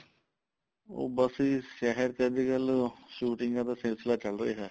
ਉਹ ਬੱਸ ਜੀ ਸ਼ਹਿਰ ਚ ਅੱਜਕਲ ਸ਼ੂਟਿੰਗਾ ਦਾ ਸਿਲਸਲਾ ਚੱਲ ਰਿਹਾ